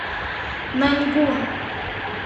наньгун